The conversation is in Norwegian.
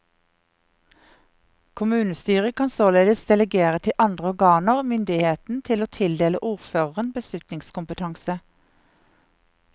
Kommunestyret kan således delegere til andre organer myndigheten til å tildele ordføreren beslutningskompetanse.